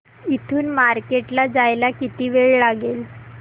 इथून मार्केट ला जायला किती वेळ लागेल